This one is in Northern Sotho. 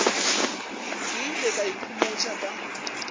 ke ile ka ikhomotša ka